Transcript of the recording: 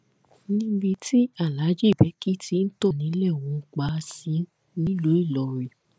níbi tí alhaji beki ti ń tò nílẹ wò pa á sí nílùú ìlọrin